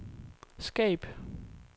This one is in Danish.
skab